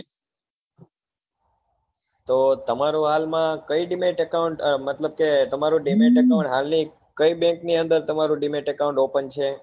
તો તમારું હાલ માં કઈ dibet account મતલબ કે તમારો dibet account હાલ ની કઈ bank ની અંદર તમારું dibet account open છે